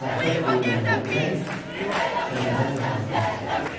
Xəttat deyilənləri cəld Səmərqənd kağızına köçürdü.